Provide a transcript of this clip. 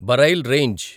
burial range